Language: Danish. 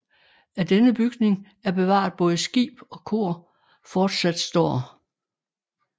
Af denne bygning er bevaret både skib og kor fortsat står